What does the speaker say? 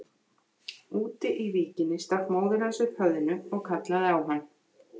Úti í víkinni stakk móðir hans upp höfðinu og kallaði á hann.